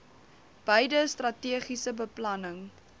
beide strategiese beplanning